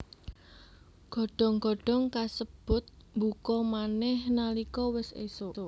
Godhong godhong kasebut mbuka manèh nalika wis ésuk